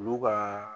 Olu ka